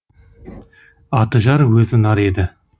аты жар өзі нар еді